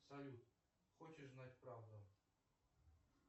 салют хочешь знать правду